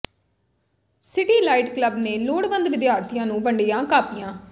city light club ਨੇ ਲੋੜਵੰਦ ਵਿਦਿਆਰਥੀਆਂ ਨੂੰ ਵੰਡੀਆਂ ਕਾਪੀਆਂ